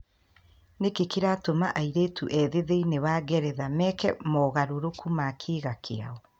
Nĩkĩ kĩratũma airĩtu ethĩ thĩinĩ wa Ngeretha meke mogarũrũku ma kĩĩga kĩao?